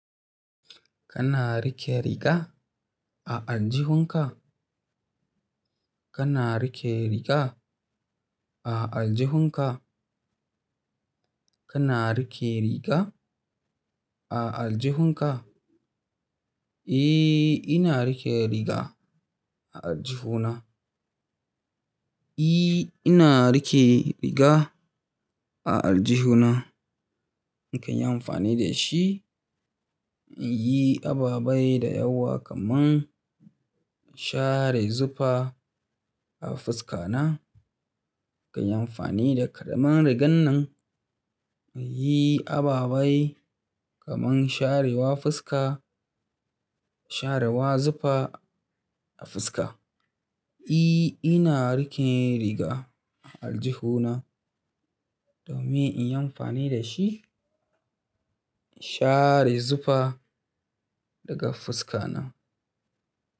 Kana riƙe riga, a aljihun ka? Kana rike riga a aljihunka? Kana rike riga a aljihunka? Eh, ina riƙe riga a aljihuna. I ina rike riga a aljihuna. Na kan yi amfani da shi, in yi aba-bai da yawa kamar share zufa a fuska na. Kan yi amfani da karamar rigar nan muyi aba-bai kamar sharewa fuska, sharewa zufa a fuska. Eh, ina rike riga a aljihuna domin in yi amfani da shi in share zufa daga fuska na.